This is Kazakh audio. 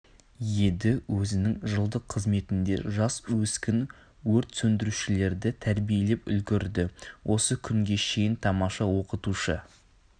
еді өзінің жылдық қызметінде жас өскін өрт сөндірушілерді тәрбиелеп үлгірді осы күнге шейін тамаша оқытушы